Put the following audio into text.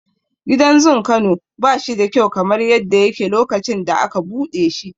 Gidan zun Kano bashi da kyau kamar yadda yake lokacin da aka buɗe shi.